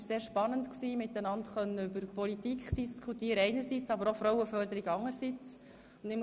Es war sehr spannend, über Politik einerseits und Frauenförderung anderseits zu diskutieren.